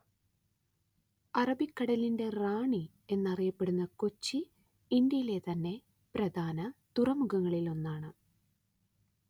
അറബിക്കടലിന്റെ റാണി എന്നറിയപ്പെടുന്ന കൊച്ചി ഇന്ത്യയിലെതന്നെ പ്രധാന തുറമുഖങ്ങളിലൊന്നാണ്